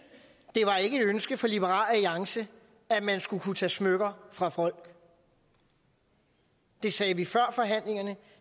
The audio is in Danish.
det var ikke et ønske fra liberal alliance at man skulle kunne tage smykker fra folk det sagde vi før forhandlingerne